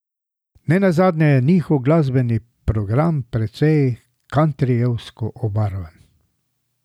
Ne nazadnje je njihov glasbeni program precej kantrijevsko obarvan.